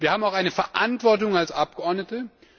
Wir haben auch eine Verantwortung als Abgeordnete.